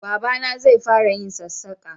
Baba na zai fara yin sassaka